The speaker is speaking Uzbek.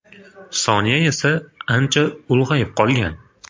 Sonya esa ancha ulg‘ayib qolgan.